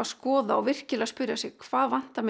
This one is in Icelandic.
að skoða og virkilega spyrja sig hvað vantar mig og